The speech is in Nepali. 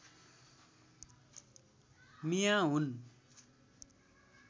मियाँ हुन्